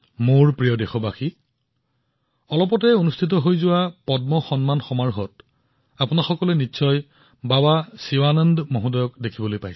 মোৰ মৰমৰ দেশবাসীসকল আপুনি শেহতীয়া পদ্ম সন্মান অনুষ্ঠানত বাবা শিৱানন্দজীক নিশ্চয় দেখিছে